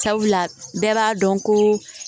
Sabula bɛɛ b'a dɔn ko